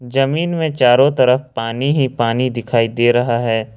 जमीन में चारों तरफ पानी ही पानी दिखाई दे रहा है।